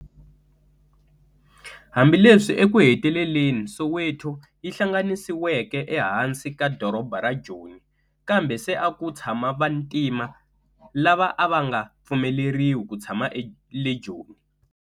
Hambileswi eku heteleleni Soweto yi hlanganisiweke e hansi ka doroba ra Joni, kambe se a ku tshama vantima, lava a va nga pfumeleriwi ku tshama le Joni.